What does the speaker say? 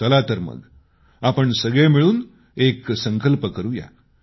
चला तर मग आपण सगळे मिळून एक संकल्प करूया